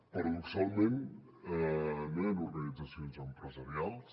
paradoxalment no hi han organitzacions empresarials